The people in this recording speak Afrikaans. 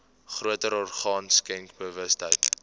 groter orgaan skenkersbewustheid